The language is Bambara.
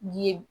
Ye